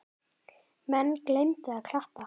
Menn gleymdu að klappa.